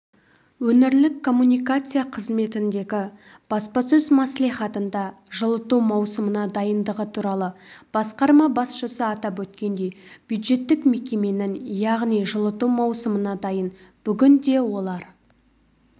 өңірлік коммуникация қызметіндегі баспасөз мәслихатында жылыту маусымына дайындығы туралы басқарма басшысы атап өткендей бюджеттік мекеменің яғни жылыту маусымына дайын бүгінде олар